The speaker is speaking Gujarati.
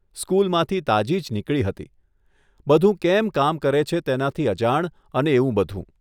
સ્કૂલમાંથી તાજી જ નીકળી હતી, બધું કેમ કામ કરે છે તેનાથી અજાણ અને એવું બધું.